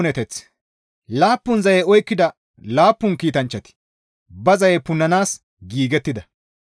Laappun zaye oykkida laappun kiitanchchati ba zaye punnanaas giigettida.